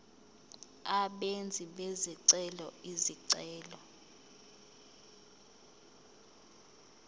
abenzi bezicelo izicelo